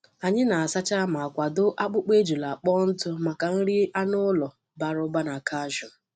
Anyị na-asa ma kwadoo akpụkpọ ejula kpọọ ntụ maka nri anụ ụlọ bara ụba na calcium.